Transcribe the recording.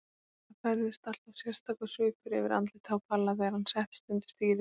Það færðist alltaf sérstakur svipur yfir andlitið á Palla þegar hann settist undir stýri.